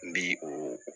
N bi o